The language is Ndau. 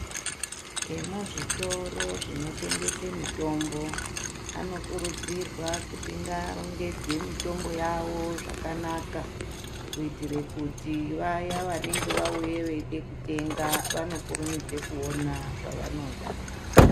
Emuzvitoro zvinotengese mitombo anokurudzirwa kuti arongedze mitombo yavo zvakanaka kuitire kuti vaya vanenge vauya veide kutenga vakurumidze kuona zvavanoda.